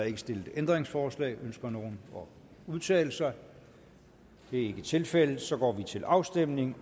ikke stillet ændringsforslag ønsker nogen at udtale sig det er ikke tilfældet og så går vi til afstemning